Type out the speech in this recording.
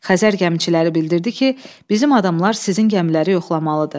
Xəzər gəmiçiləri bildirdi ki, bizim adamlar sizin gəmiləri yoxlamalıdır.